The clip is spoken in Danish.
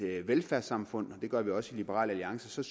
velfærdssamfund og det gør vi også i liberal alliance